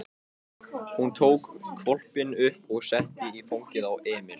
Hún tók hvolpinn upp og setti í fangið á Emil.